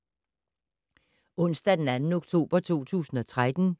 Onsdag d. 2. oktober 2013